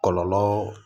Kɔlɔlɔ